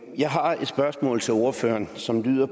jeg har et spørgsmål til ordføreren som lyder